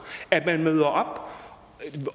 at man møder op